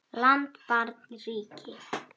land barn ríki